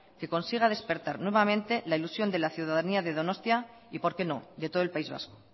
que consiga despertar nuevamente la ilusión de la ciudadanía de donostia y por qué no de todo el país vasco